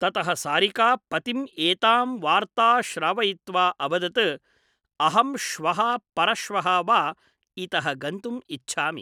ततः सारिका पतिम् एतां वार्ता श्रावयित्वा अवदत् अहं श्वः परश्वः वा इतः गन्तुम् इच्छामि ।